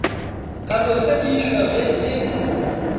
ka no fedišwa ge e